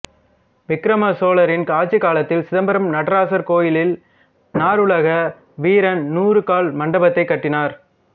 விக்ரம சோழரின் ஆட்சிக் காலத்தில் சிதம்பரம் நடராசர் கோயியில் நாரலோக வீரன் நூறு கால் மண்டபத்தைக் கட்டினார்